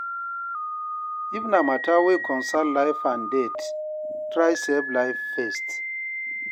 if na mata wey concern life and death, try save life first